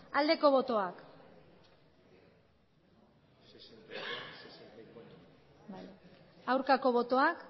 aldeko botoak aurkako botoak